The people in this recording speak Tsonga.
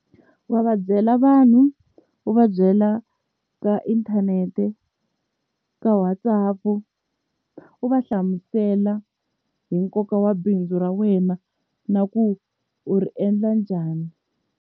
Wa va byela vanhu u va byela ka inthanete ka WhatsApp u va hlamusela hi nkoka wa bindzu ra wena na ku u ri endla njhani.